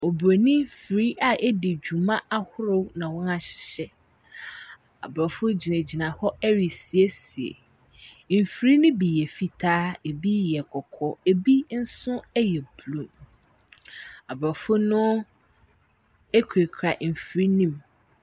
Oburonin afiri a edi dwuma ahorow na wɔn ahyehyɛ. Aborɔfo gyinagyina hɔ resiesie. Mfiri no bi yɛ fitaa, ɛbi yɛ kɔkɔɔ, ɛbi nso yɛ blue. Aborɔfo no kurakura mfiri no mu.